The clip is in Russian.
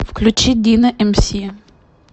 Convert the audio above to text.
включи дино эмси